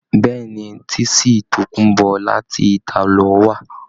Béèni, tísìì tòkunbó láti italo wà.